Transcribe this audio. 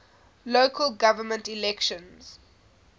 local government elections